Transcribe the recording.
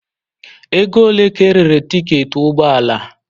Ego ole ka erere tiketi ụgbọ ala?